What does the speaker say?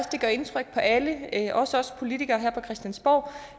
det gør indtryk på alle også os politikere her på christiansborg